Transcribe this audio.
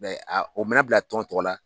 Mɛ a o mana bila tɔn tɔgɔ la